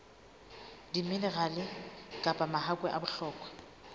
diminerale kapa mahakwe a bohlokwa